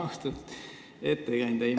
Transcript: Austatud ettekandja!